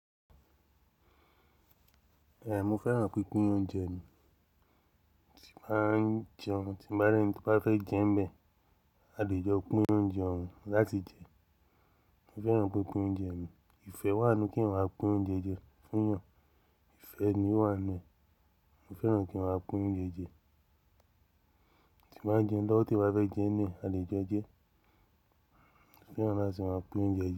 Bẹ́ẹ̀ni, mo fẹ́ràn pínpín oúnjẹ mi, tí n bàá n jẹun, tí bá rẹ́ni bá fẹ́ jẹun n bẹ, a lè jọ pín oúnjẹ òun láti jẹ. Mo fẹ́ràn pínpín oúnjẹ mi. Ìfẹ́ wà nínú kí eyan máa pín oúnjẹ jẹ fún eyàn. Ìfẹ́ ni ó wà nínu ẹ. Mo fẹ́ràn kí n máa pín oúnjẹ jẹ. Tí n bàá jẹun lọwọ, ti eyan bá fẹ́ jẹun ninu ẹ, a lè jọ jẹ. Mo fẹ́ràn láti máa pín oúnjẹ jẹ.